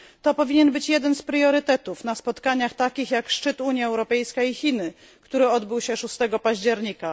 To powinien być jeden z priorytetów na spotkaniach takich jak szczyt Unia Europejska i Chiny, który odbył się 6 października.